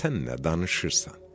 Sən nə danışırsan?